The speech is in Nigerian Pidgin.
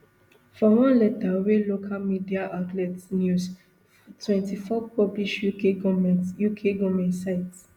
for one letter wey local media outlet news twenty-four publish uk goment uk goment cite